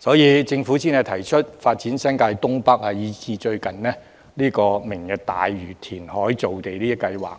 所以政府才提出發展新界東北，以至最近"明日大嶼"填海造地計劃。